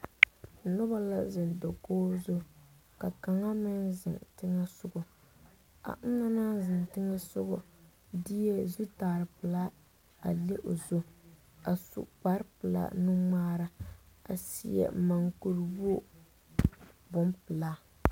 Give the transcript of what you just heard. Noba la zeŋ dakogi zu kaŋa meŋ zeŋ teŋa soɔga a ona naŋ zeŋ teŋa diɛ zutare peɛlaa leŋ o zu a su kpare peɛle nu ŋmaara a seɛ moɔ kuri wogi bonpeɛle.